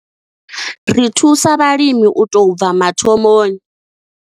Ri thusa vhalimi u tou bva mathomoni.